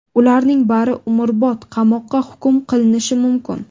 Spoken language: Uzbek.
Ularning bari umrbod qamoqqa hukm qilinishi mumkin.